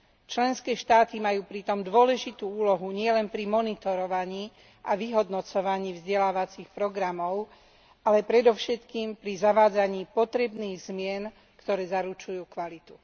Členské štáty majú pritom dôležitú úlohu nielen pri monitorovaní a vyhodnocovaní vzdelávacích programov, ale predovšetkým pri zavádzaní potrebných zmien, ktoré zaručujú kvalitu.